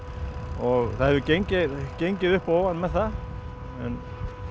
og það hefur gengið gengið upp og ofan með það en